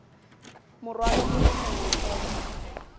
morwalo o le mongwe fela